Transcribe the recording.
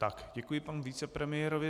Tak, děkuji panu vicepremiérovi.